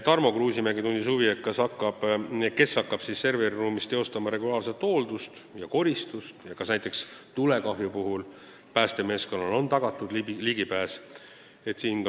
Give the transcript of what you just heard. Tarmo Kruusimäe tundis huvi, kes hakkab serveriruumis tegema regulaarset hooldust ja koristust ning kas näiteks tulekahju puhul on päästemeeskonnale ligipääs tagatud.